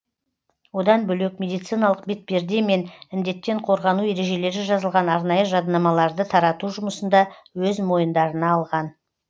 одан бөлек медициналық бетперде мен індеттен қорғану ережелері жазылған арнайы жадынамаларды тарату жұмысын да өз мойындарына алған